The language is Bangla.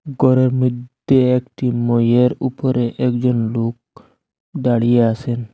গরের মইদ্যে একটি মইয়ের উপরে একজন লোক দাঁড়িয়ে আসেন।